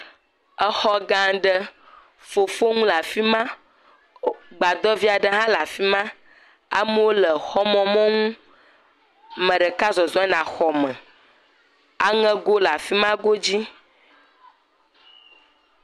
Exɔ gã aɖe fofoŋu le afi ma, gbadɔ vi aɖe le fi ma, amewo le xɔmemɔnu ame ɖeka nɔ zɔzɔm yina xɔme aŋegowo le fi ma godzi.